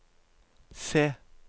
se